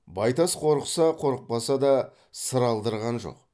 байтас қорықса қорықпаса да сыр алдырған жоқ